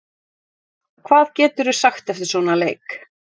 Hvað geturðu sagt eftir svona leik?